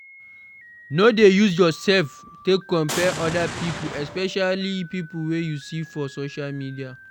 No dey use yourself take compare oda pipo especially pipo wey you see for social media